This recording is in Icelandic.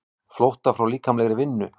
Flótta frá líkamlegri vinnu.